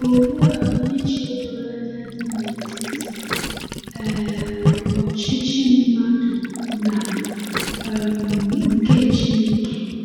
Olee ọdịiche doro anya dị n’etiti um ọchịchị mmadụ na um nke Chineke!